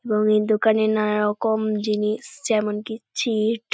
এবং এই দোকানে নানারকম জিনিস যেমন কি চিট ।